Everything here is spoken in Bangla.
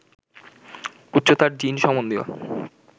উচ্চতার জিন সম্বন্ধীয়